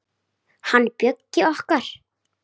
Hann Bjöggi okkar.